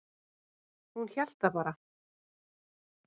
Hún hélt það bara.